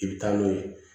I bɛ taa n'o ye